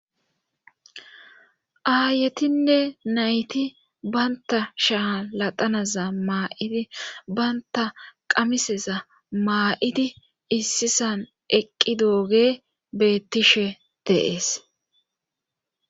Aayetinne nayti banta shaa latanaza maa'idi banta qamiseza maa'idi issisan eqqi dooge beettishe deees